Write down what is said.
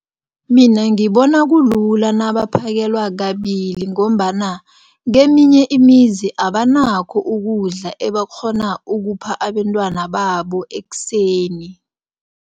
Mina ngibona kulula nabaphekelwa kabili ngombana keminye imizi abanakho ukudla ebakghona ukupha abentwana babo ekuseni.